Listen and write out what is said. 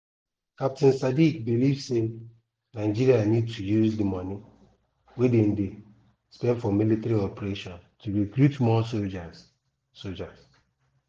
captain sadiq believe say nigeria need to use di money wey dem dey spend for military operations to recruit more soldiers. soldiers.